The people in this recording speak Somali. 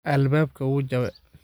Albabka uujawe.